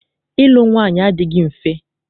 Ịlụ nwaanyị adịghị mfe.